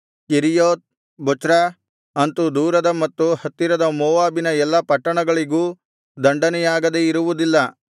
Kerioth Bozrah ಅಂತು ದೂರದ ಮತ್ತು ಹತ್ತಿರದ ಮೋವಾಬಿನ ಎಲ್ಲಾ ಪಟ್ಟಣಗಳಿಗೂ ದಂಡನೆಯಾಗದೆ ಇರುವುದಿಲ್ಲ